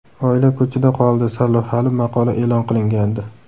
Oila ko‘chada qoldi” sarlavhali maqola e’lon qilingandi.